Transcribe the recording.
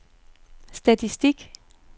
statistik